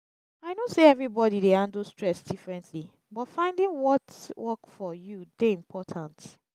i know say everybody dey handle stress differently but finding what work for you dey important.